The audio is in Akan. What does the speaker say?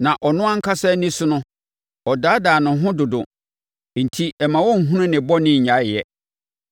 Na ɔno ankasa ani so no, ɔdaadaa ne ho dodo enti mma ɔnhunu ne bɔne nnyae yɛ.